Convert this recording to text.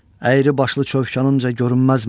Əyri başlı çövkanımca görünməz mənə.